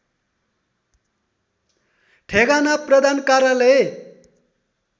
ठेगाना प्रधान कार्यालय